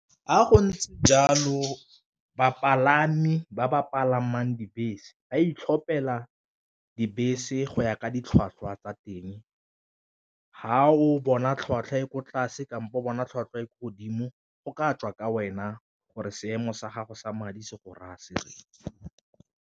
Fa go ntse jalo bapalami ba ba palamang dibese ba itlhopela dibese go ya ka ditlhwatlhwa tsa teng, ga o bona tlhwatlhwa e ko tlase kampo bona tlhwatlhwa e ko godimo go ka tswa ka wena gore seemo sa gago sa madi se go raya se reng.